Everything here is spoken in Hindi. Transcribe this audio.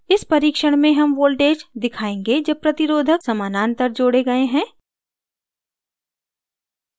इस परीक्षण में हम voltage दिखायेंगे जब प्रतिरोधक समानांतर जोड़े गए हैं